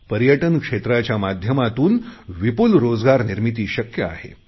पर्यटन क्षेत्राच्या माध्यमातून विपुल रोजगार निर्मिती शक्य आहे